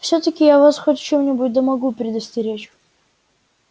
всё-таки я вас хоть в чем-нибудь да могу предостеречь